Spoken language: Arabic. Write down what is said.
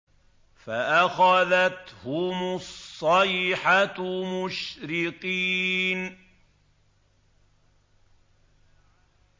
فَأَخَذَتْهُمُ الصَّيْحَةُ مُشْرِقِينَ